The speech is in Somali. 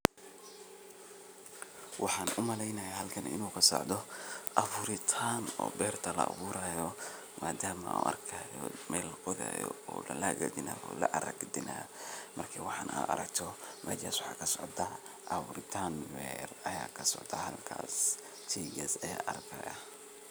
Waxan umaleynaya halkan inu kasocda aburitan oo beerta laaburayo madame an arkaya mel laqodhaya oo lahagajinaya inad aragten Marki waxan aragto meshas waxa kasocda abuuritan aya kasocda halkaas sheygas aya arkaya